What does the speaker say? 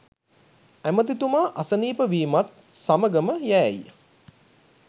ඇමැතිතුමා අසනීප වීමත් සමගම යෑයි